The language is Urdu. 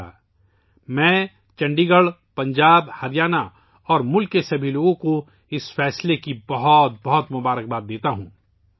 میں اس فیصلے کے لئے چندی گڑھ، پنجاب، ہریانہ اور ملک کے تمام لوگوں کو مبارکباد دیتا ہوں